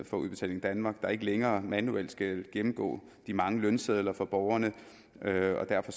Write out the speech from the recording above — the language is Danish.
for udbetaling danmark der ikke længere manuelt skal gennemgå de mange lønsedler fra borgerne og derfor